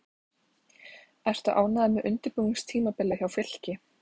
Ertu ánægður með undirbúningstímabilið hjá Fylki?